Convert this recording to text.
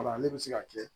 Wala ne bɛ se ka kɛ